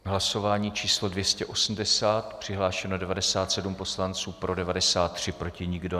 Hlasování číslo 280, přihlášeno 97 poslanců, pro 93, proti nikdo.